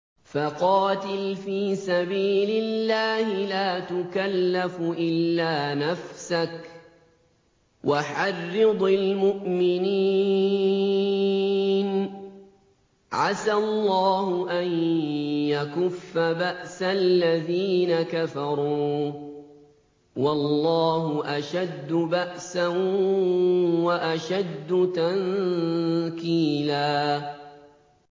فَقَاتِلْ فِي سَبِيلِ اللَّهِ لَا تُكَلَّفُ إِلَّا نَفْسَكَ ۚ وَحَرِّضِ الْمُؤْمِنِينَ ۖ عَسَى اللَّهُ أَن يَكُفَّ بَأْسَ الَّذِينَ كَفَرُوا ۚ وَاللَّهُ أَشَدُّ بَأْسًا وَأَشَدُّ تَنكِيلًا